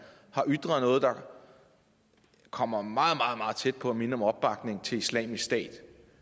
har ytret noget der kommer meget meget tæt på at minde om opbakning til islamisk stat